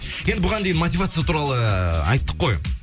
енді бұған дейін мотивация туралы ыыы айттық қой